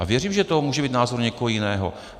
A věřím, že to může být názor někoho jiného.